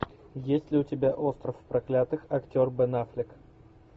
есть ли у тебя остров проклятых актер бен аффлек